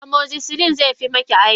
Amoxicillin zefi maki aiki.